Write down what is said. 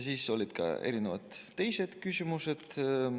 Oli ka mitmesuguseid teisi küsimusi.